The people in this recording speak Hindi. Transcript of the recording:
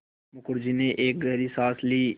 मुखर्जी ने एक गहरी साँस ली